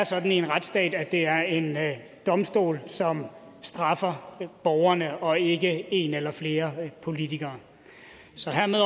sådan i en retsstat at det er en domstol som straffer borgerne og ikke en eller flere politikere så hermed